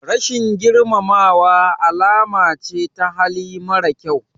Rashin girmamawa alama ce ta hali mara kyau.